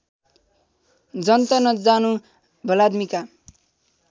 जन्त नजानु भलाद्‌मीका